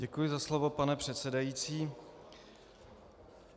Děkuji za slovo pane předsedající.